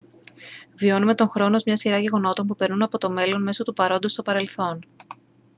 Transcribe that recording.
βιώνουμε τον χρόνο ως μια σειρά γεγονότων που περνούν από το μέλλον μέσω του παρόντος στο παρελθόν